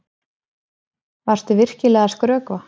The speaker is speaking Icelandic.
Varstu virkilega að skrökva?